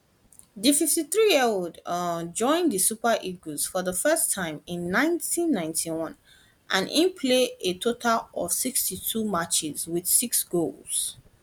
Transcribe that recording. di 53yearold um join di super eagles for di first time in 1991 and e play a total of 62 matches wit six goals